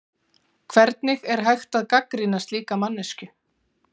Hvernig er hægt að gagnrýna slíka manneskju?